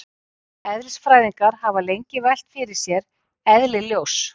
Eðlisfræðingar hafa lengi velt fyrir sér eðli ljóss.